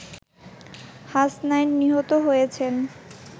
হাসনাইন নিহত হয়েছেন